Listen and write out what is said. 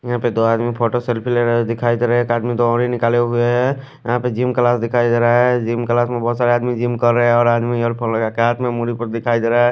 यहा पे दो आदमी फोटो सेल्फी लेरे हुए दिखाई देरे है कार्टून दो ऊनी निकले हुए है यहा पे जिम क्लास दिखाई दे रहा है जिम क्लास में बहोत सारे आदमी जिम कर रहे है और येअर्फोने लगा के दिखाई देरा है।